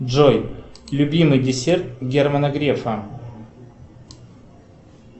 джой любимый десерт германа грефа